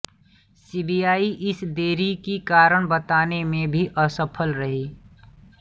CBI इस देरी का कारण बताने में भी असफल रही